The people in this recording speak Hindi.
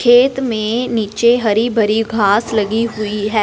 खेत में नीचे हरी भरी घास लगी हुई है।